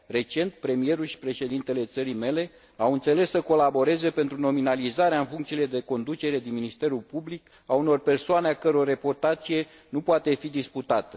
Recent, premierul și președintele țării mele au înțeles să colaboreze pentru nominalizarea în funcțiile de conducere din Ministerul Public a unor persoane a căror reputație nu poate fi disputată.